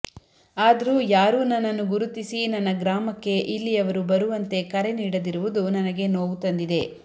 ಆದರೂ ಯಾರೂ ನನ್ನನ್ನು ಗುರುತಿಸಿ ನನ್ನ ಗ್ರಾಮಕ್ಕೆ ಇಲ್ಲಿಯವರು ಬರುವಂತೆ ಕರೆ ನೀಡದಿರುವುದು ನನಗೆ ನೋವು ತಂದಿದೆ